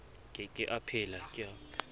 ke ke a phela ka